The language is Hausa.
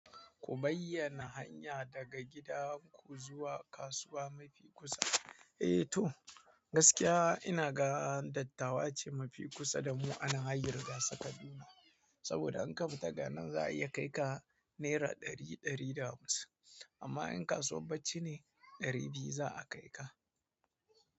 Ku bayyana hanya daga gidan ku zuwa kasuwa mafi kusa. Eh toh, gaskiya ina ga dattawa ce mafi kusa da mu anan hayin rigasa Kaduna. Saboda in ka fita daga nan za a iya kai ka Naira ɗari, ɗari da hamsin. Amma in kasuwar bacci ne, ɗari biyu za a kai ka.